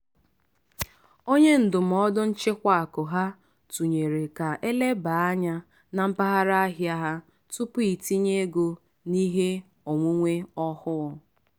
“onye ndụmọdụ nchịkwa akụ ha tụnyere ka elebaa anya na mpaghara ahịa ha tupu itinye ego n'ihe onwunwe ọhụụ.”